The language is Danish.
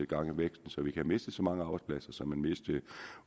gang i væksten så vi ikke mistet så mange arbejdspladser som vi mistede